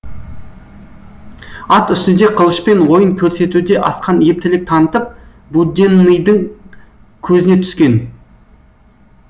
ат үстінде қылышпен ойын көрсетуде асқан ептілік танытып буденныйдың көзіне түскен